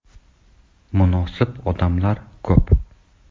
Munosib odamlar ko‘p.